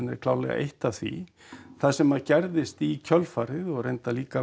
er klárlega eitt af því það sem að gerðist í kjölfarið og reyndar líka